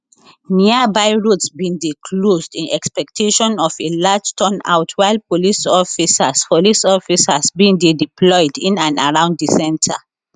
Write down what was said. nearby roads bin dey closed in expectation of a large turnout while police officers police officers bin dey deployed in and around di centre